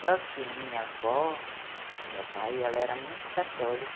Só que minha avó, do meu pai, ela era muito católica.